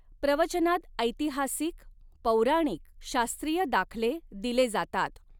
प्रवचनात ऎतीहासीक, पौराणीक, शास्त्रीय दाखले दिले जातात.